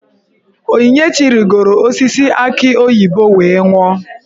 Onyinyechi rigoro osisi aki oyibo wee nwuo.